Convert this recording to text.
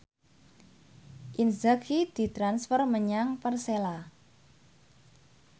Inzaghi ditransfer menyang Persela